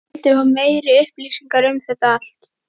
hún vildi fá meiri upplýsingar um þetta allt.